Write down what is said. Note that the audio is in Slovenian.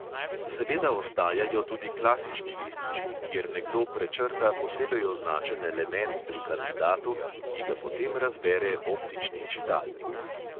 Seveda ostajajo tudi klasični lističi, kjer nekdo prečrta posebej označen element pri kandidatu, ki ga potem razbere optični čitalnik.